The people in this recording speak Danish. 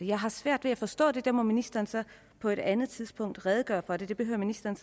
jeg har svært ved at forstå det det må ministeren så på et andet tidspunkt redegøre for det behøver ministeren